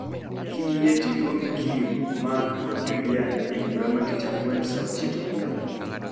Kiyie to iluongi Kim, Mark kod Juliani e bura ma tich ang'wen saa ochiko odhiambo.